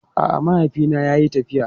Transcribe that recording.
A'a, mahaifina yayi tafiya.